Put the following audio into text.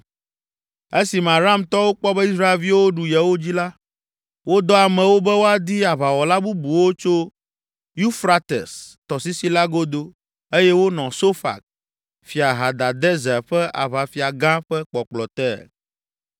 Esime Aramtɔwo kpɔ be Israelviwo ɖu yewo dzi la, wodɔ amewo be woadi aʋawɔla bubuwo tso Ufrates tɔsisi la godo eye wonɔ Sofak, Fia Hadadezer ƒe aʋafia gã ƒe kpɔkplɔ te.